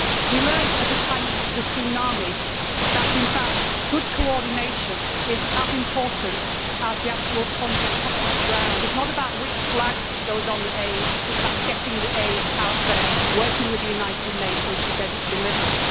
We learned at the time of the tsunami that, in fact, good coordination is as important as the actual funds we put on the ground. It is not about which flag goes on the aid, it is about getting the aid out there, working with the United Nations to get it delivered.